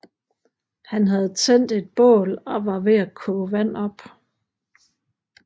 Han havde tændt et bål og var ved at koge vand op